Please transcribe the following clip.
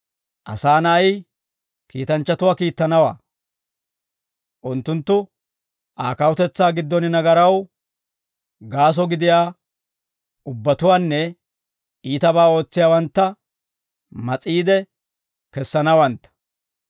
Asaa Na'ay, kiitanchchatuwaa kiittanawaa; unttunttu Aa kawutetsaa giddon nagaraw gaaso gidiyaa ubbatuwaanne iitabaa ootsiyaawantta mas'iide kessanawantta.